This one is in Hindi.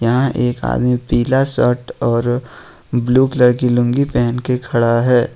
यहां एक आदमी पीला शर्ट और ब्लू कलर की लुंगी पहन के खड़ा है।